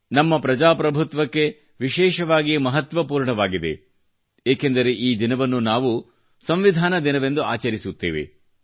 ನನ್ನ ಪ್ರಜಾಪ್ರಭುತ್ವಕ್ಕೆ ವಿಶೇಷವಾಗಿ ಮಹತ್ವಪೂರ್ಣವಾಗಿದೆ ಏಕೆಂದರೆ ಈ ದಿನವನ್ನು ನಾವು ಸಂವಿಧಾನ ದಿನವೆಂದು ಆಚರಿಸುತ್ತೇವೆ